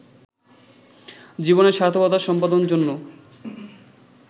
জীবনের সার্থকতা সম্পাদন জন্য